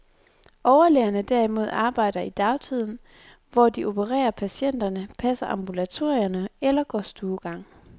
Overlægerne derimod arbejder i dagtiden, hvor de opererer patienterne, passer ambulatorierne eller går stuegang.